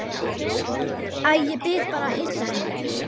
Æ, ég bið bara að heilsa henni